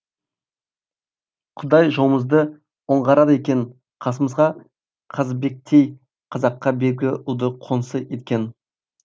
құдай жолымызды оңғарады екен қасымызға қазыбектей қазаққа белгілі ұлды қоңсы еткен